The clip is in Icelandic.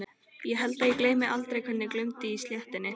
Ég held að ég gleymi aldrei hvernig glumdi í stéttinni.